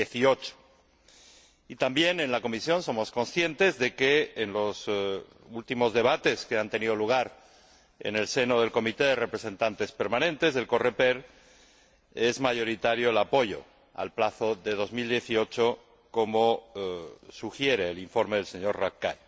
2018. También en la Comisión somos conscientes de que en los últimos debates que han tenido lugar en el seno del Comité de Representantes Permanentes, el Coreper, es mayoritario el apoyo al plazo del 2018, como sugiere el informe del señor Rapkay.